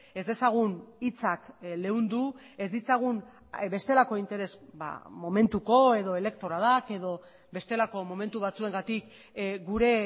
ez dezagun hitzak leundu ez ditzagun bestelako interes momentuko edo elektoralak edo bestelako momentu batzuengatik gure